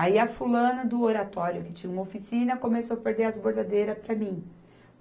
Aí a fulana do Oratório, que tinha uma oficina, começou perder as bordadeiras para mim.